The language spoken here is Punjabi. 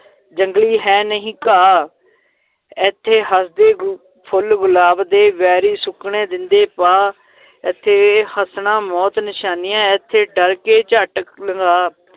ਜੰਗਲੀ ਹੈ ਨਹੀਂ ਘਾਹ ਏਥੇ ਹਸਦੇ ਗੁ ਫੁੱਲ ਗੁਲਾਬ ਦੇ ਵੈਰੀ ਸੁੱਕਣੇ ਦੇਂਦੇ ਪਾ ਏਥੇ ਹੱਸਣਾ ਮੌਤ ਨਿਸ਼ਾਨੀਆਂ, ਏਥੇ ਡਰ ਕੇ ਝੱਟ ਲੰਘਾ,